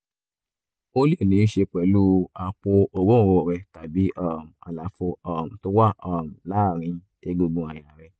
ó lè níí ṣe pẹ̀lú ṣe pẹ̀lú àpò òróǹro rẹ tàbí um àlàfo um tó wà um láàárín egungun àyà rẹ